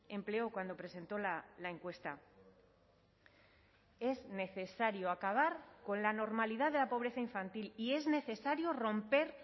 empleó cuando presentó la encuesta es necesario acabar con la normalidad de la pobreza infantil y es necesario romper